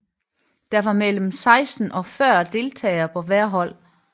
Der var mellem 16 og 40 deltagere på hvert hold